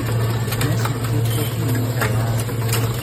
Nyasutiet ko ki ne kayaak